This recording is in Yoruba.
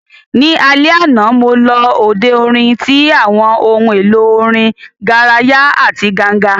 Ní alẹ́ àná, mo lọ òde orin tí àwọn ohun èlò orin garaya àti ganga